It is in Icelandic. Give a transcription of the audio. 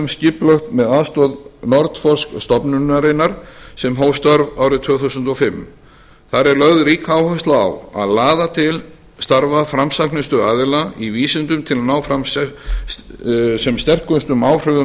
skipulagt með aðstoð nordforsk stofnunarinnar sem hóf störf tvö þúsund og fimm þar er lögð rík áhersla á að laða til starfa framsæknustu aðilar í vísindum til að ná fram sem sterkustum áhrifum